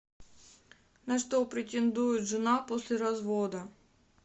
на что претендует жена после развода